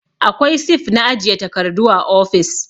Akwai sif na ajiye takardu a ofis